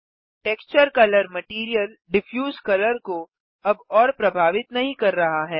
texture colour material diffuse colour को अब और प्रभावित नहीं कर रहा है